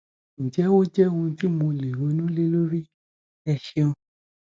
ǹjẹ ó jẹ ohun ti mo lè ronú lé lórí ẹ ṣeun